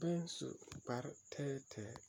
baŋ su kpare tɛɛtɛɛ.